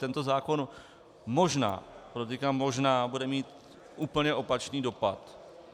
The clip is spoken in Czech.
Tento zákon možná, podotýkám možná, bude mít úplně opačný dopad.